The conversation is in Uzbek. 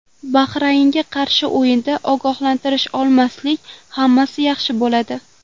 Bahraynga qarshi o‘yinda ogohlantirish olmasak, hammasi yaxshi bo‘ladi”.